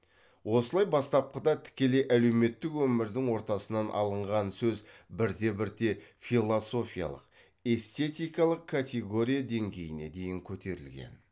осылай бастапқыда тікелей әлеуметтік өмірдің ортасынан алынған сөз бірте бірте философиялық эстетикалық категория деңгейіне дейін көтерілген